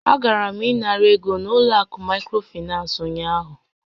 A gara m ịnara ego n'ụlọ akụ microfinance ụnyaahụ.